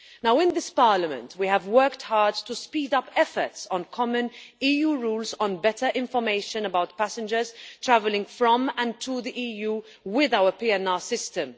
Now in this Parliament we have worked hard to speed up efforts on common EU rules on better information about passengers travelling from and to the EU with our PNR system.